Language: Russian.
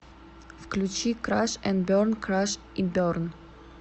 включи краш энд берн краш и берн